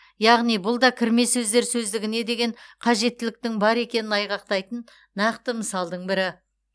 яғни бұл да кірме сөздер сөздігіне деген қажеттіліктің бар екенін айғақтайтын нақты мысалдың бірі